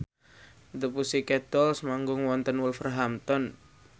The Pussycat Dolls manggung wonten Wolverhampton